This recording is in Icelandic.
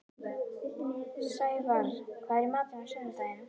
Snævarr, hvað er í matinn á sunnudaginn?